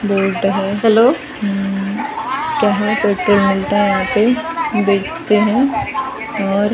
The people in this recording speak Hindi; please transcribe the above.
बोलता है हैलो कहाँ यहाँ मिलता है यहाँ पे बेचते हैं और --